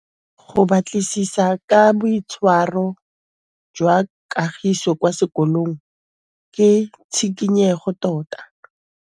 Go batlisisa ka boitshwaro jwa Kagiso kwa sekolong ke tshikinyêgô tota.